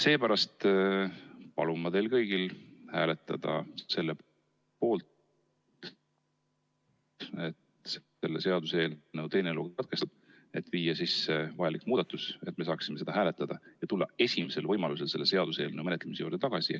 Seepärast palun ma teil kõigil hääletada selle poolt, et selle seaduseelnõu teine lugemine katkestada, et viia sisse vajalik muudatus, et me saaksime seda hääletada ja tulla esimesel võimalusel selle seaduseelnõu menetlemise juurde tagasi.